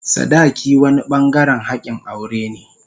sadaki wani bangaren hakin aure ne.